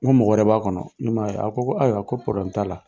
N ko mɔgɔ wɛrɛ b'a kɔnɔ n k'i man ye a ko ayiwa a ko t'a la.